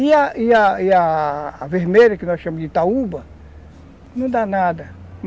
E a e a e a vermelha, que nós chamamos de itaúba, não dá nada.